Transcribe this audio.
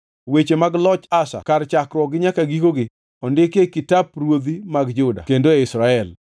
Weche mag loch Asa kar, chakruokgi nyaka gikogi, ondikgi e kitap ruodhi mag Juda kod Israel.